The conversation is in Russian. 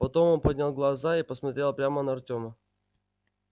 потом он поднял глаза и посмотрел прямо на артёма